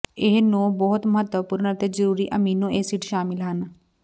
ਇਹ ਨੌ ਬਹੁਤ ਮਹੱਤਵਪੂਰਨ ਅਤੇ ਜ਼ਰੂਰੀ ਅਮੀਨੋ ਐਸਿਡ ਸ਼ਾਮਿਲ ਹਨ